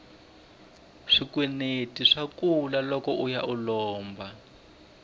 swikweleti swa kula loko uya u lomba